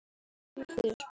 Nú skilur leiðir um sinn.